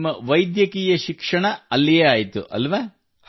ನಿಮ್ಮ ವೈದ್ಯಕೀಯ ಶಿಕ್ಷಣ ಅಲ್ಲಿಯೇ ಆಯಿತಲ್ಲವೇ